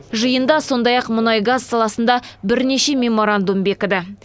жиында сондай ақ мұнай газ саласында бірнеше меморандум бекіді